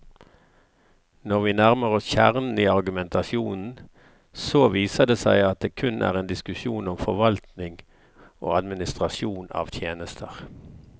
Når vi nærmer oss kjernen i argumentasjonen, så viser det seg at det kun er en diskusjon om forvaltning og administrasjon av tjenester.